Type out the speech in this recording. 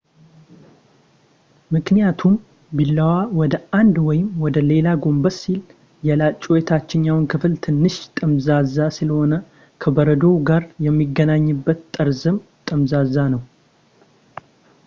ምክንያቱም ቢላዋ ወደ አንድ ወይም ወደ ሌላ ጎንበስ ሲል ፣ የላጩ የታችኛው ክፍል ትንሽ ጠመዝማዛ ስለሆነ ፣ ከበረዶው ጋር የሚገናኝበት ጠርዝም ጠመዝማዛ ነው